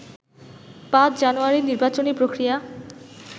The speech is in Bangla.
৫ই জানুয়ারির নির্বাচনী প্রক্রিয়া